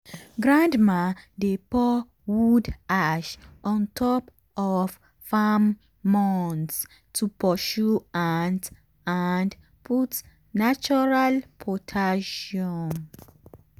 grandma dey pour wood ash on top of farm mounds to pursue ant and put natural potassium.